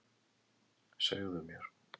Segðu mér.